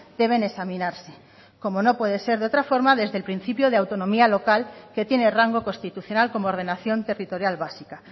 deben examinarse como no puede ser de otra forma desde el principio de autonomía local que tiene rango constitucional como ordenación territorial básica